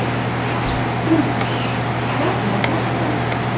Gunnhildur, hvernig er dagskráin?